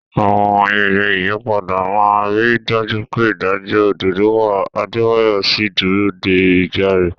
Àwọn ayẹyẹ ìyípadà máa ń rí i dájú pé ìdájọ́ òdodo wà, Adebayo sì ń dúró de ìgbà rẹ̀.